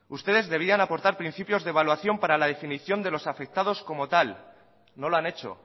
ustedes debían aportar principios de evaluación para la definición de los afectados como tal no lo han hecho